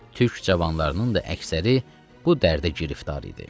Türk cavanlarının da əksəri bu dərdə giriftar idi.